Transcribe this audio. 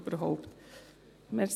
Es hängt ja zusammen.